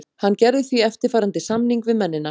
Hann gerði því eftirfarandi samning við mennina.